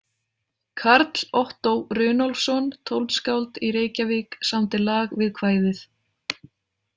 Karl Ottó Runólfsson tónskáld í Reykjavík samdi lag við kvæðið.